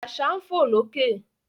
Àṣà ń fò lókè